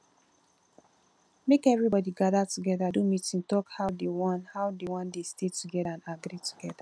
make everybody gather together do meeting talk how they won how they won de stay together and agree together